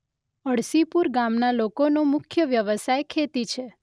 અળસીપુર ગામના લોકોનો મુખ્ય વ્યવસાય ખેતી છે.